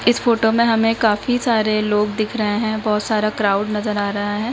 इस फोटो में हमें काफी सारे लोग दिख रहे हैं बहुत सारा क्राउड नजर आ रहा है।